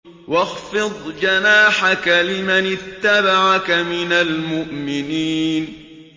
وَاخْفِضْ جَنَاحَكَ لِمَنِ اتَّبَعَكَ مِنَ الْمُؤْمِنِينَ